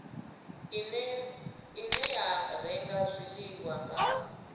ine ya renga zwiḽiwa nga